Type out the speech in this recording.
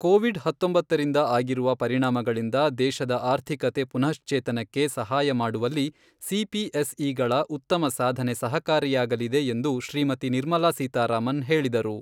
Covid ಹತ್ತೊಂಬತ್ತರಿಂದ ಆಗಿರುವ ಪರಿಣಾಮಗಳಿಂದ ದೇಶದ ಆರ್ಥಿಕತೆ ಪುನಃಶ್ಚೇತನಕ್ಕೆ ಸಹಾಯ ಮಾಡುವಲ್ಲಿ ಸಿಪಿಎಸ್ಇಗಳ ಉತ್ತಮ ಸಾಧನೆ ಸಹಕಾರಿಯಾಗಲಿದೆ ಎಂದು ಶ್ರೀಮತಿ ನಿರ್ಮಲಾ ಸೀತಾರಾಮನ್ ಹೇಳಿದರು.